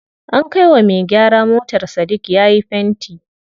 An kai wa me gyara motar Sadik yayi fenti.